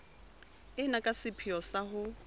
ena ka sepheo sa ho